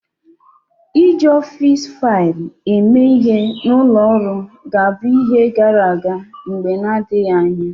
Iji ọfịs faịlụ eme ihe na ụlọ ọrụ ga-abụ ihe gara aga mgbe na-adịghị anya.